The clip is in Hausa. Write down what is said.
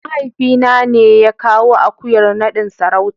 mahaifina ne ya kawo akuyar nadin sarauta.